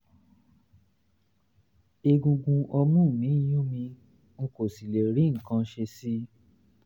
egungun ọmú mi ń yún mi n kò sì lè rí nǹkan ṣe sí i